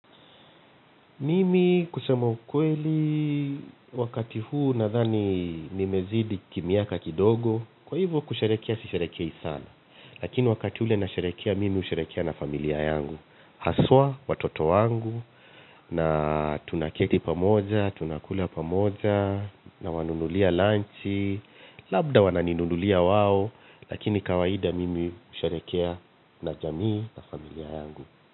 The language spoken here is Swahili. Mimi kusema ukweli wakati huu nadhani ni mezidi kimiaka kidogo. Kwa hivyo kusherekea si sherekei sana. Lakini wakati hule na sherekea mimi husherekea na familia yangu. Haswa watoto wangu na tunaketi pamoja, tunakula pamoja nawanunulia lunchi. Labda wananinunulia wao, lakini kawaida mimi husherekea na jamii na familia yangu.